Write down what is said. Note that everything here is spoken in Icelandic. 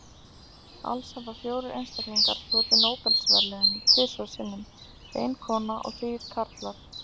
Alls hafa fjórir einstaklingar hlotið Nóbelsverðlaunin tvisvar sinnum, ein kona og þrír karlar.